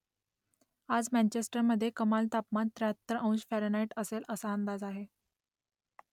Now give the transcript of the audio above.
आज मँचेस्टरमधे कमाल तापमान त्र्याहत्तर अंश फॅरनहाईट असेल असा अंदाज आहे